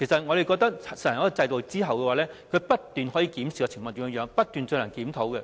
我覺得實行一種制度後，可以不斷檢視情況，不斷進行檢討。